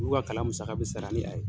Olu ka kalan musaka bi sara ni a ye